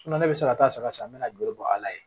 ne bɛ se ka taa saga san n bɛ na juru bɔ ala ye